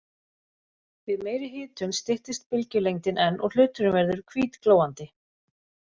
Við meiri hitun styttist bylgjulengdin enn og hluturinn verður hvítglóandi.